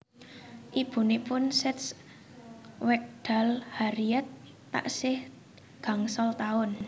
Ibunipun seds wekdal Harriet taksih gangsal tahun